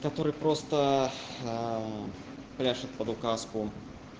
который просто прячут под указку